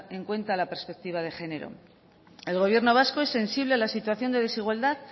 en cuenta la perspectiva de género el gobierno vasco es sensible a la situación de desigualdad